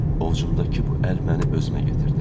Ovucumdakı bu əl məni özümə gətirdi.